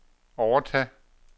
overtage